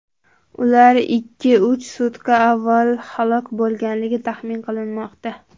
Ular ikkiuch sutka avval halok bo‘lganligi taxmin qilinmoqda.